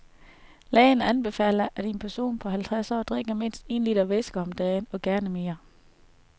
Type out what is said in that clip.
Lægerne anbefaler, at en person på halvtreds år drikker mindst en liter væske om dagen og gerne mere.